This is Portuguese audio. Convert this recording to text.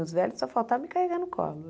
Os velhos só faltavam me carregar no colo.